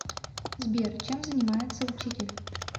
сбер чем занимается учитель